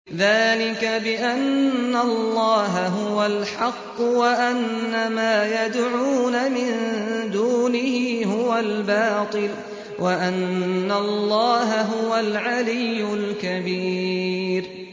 ذَٰلِكَ بِأَنَّ اللَّهَ هُوَ الْحَقُّ وَأَنَّ مَا يَدْعُونَ مِن دُونِهِ هُوَ الْبَاطِلُ وَأَنَّ اللَّهَ هُوَ الْعَلِيُّ الْكَبِيرُ